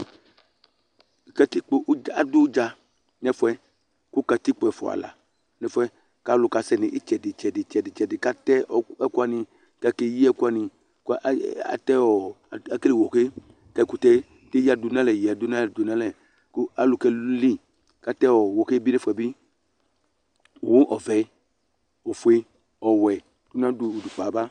adʊ udza nʊ ɛfʊ yɛ kʊ katikpo ɛfua la dʊ ɛfʊ yɛ, kʊ alʊ ka sɛ nʊ itsɛdɩ itsɛdɩ, kʊ atɛ ɛkʊwanɩ, kʊ akeyi ɛkʊwanɩ, kʊ alɛ wohe, kʊ ɛkʊtɛ eyǝ dʊ n'alɛ yǝ dʊ n'alɛ, kʊ alʊ keli, kʊ atɛ wohe nʊ ɛfʊ yɛ bɩ kʊ owu ofue, ɔvɛ, ɔwɛ